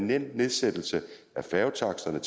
nedsættelse af færgetaksterne